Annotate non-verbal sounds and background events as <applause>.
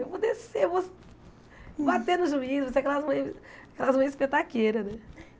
Eu vou descer, eu vou bater no juiz, vou ser aquelas mães aquelas mães, <unintelligible> né?